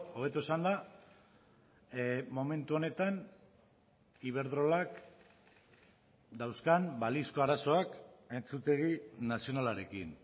hobeto esanda momentu honetan iberdrolak dauzkan balizko arazoak entzutegi nazionalarekin